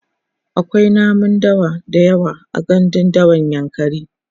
akwai namun dawa da yawa a gandun dawan yankari